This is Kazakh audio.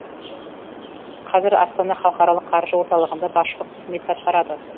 қазір астана халықаралық қаржы орталығында басшылық қызметті атқарады